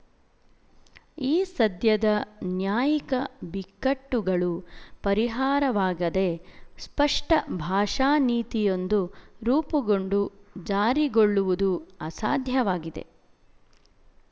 ಈ ಸದ್ಯದ ನ್ಯಾಯಿಕ ಬಿಕ್ಕಟ್ಟುಗಳು ಪರಿಹಾರವಾಗದೆ ಸ್ಪಷ್ಟ ಭಾಷಾನೀತಿಯೊಂದು ರೂಪುಗೊಂಡು ಜಾರಿಗೊಳ್ಳುವುದು ಅಸಾಧ್ಯವಾಗಿದೆ